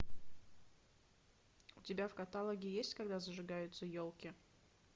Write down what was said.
у тебя в каталоге есть когда зажигаются елки